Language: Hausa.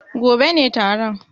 Gobe ne taron.